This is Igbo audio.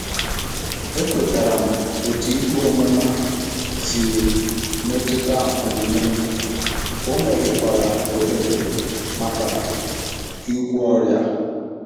Ekwetara m otú ikpe ọmụma si metụta omume m, o meghekwara ohere maka ịgwọ ọrịa.